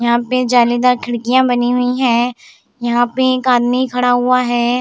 यहाँ पे जालीदार खिड़कियां बनी हुई है यहाँ पे एक आदमी खड़ा हुआ है।